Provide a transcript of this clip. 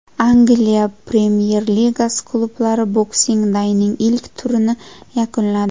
Angliya Premyer-Ligasi klublari Boxing day’ning ilk turini yakunladi.